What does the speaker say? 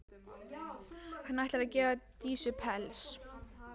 Hann ætlar að gefa Dísu pels.